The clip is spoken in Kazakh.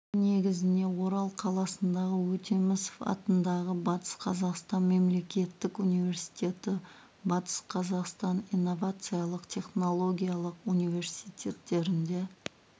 қорытынды негізіне орал қаласындағы өтемісов атындағы батыс қазақстан мемлекеттік университеті батыс қазақстан инновациялық-технологиялық университеттерінде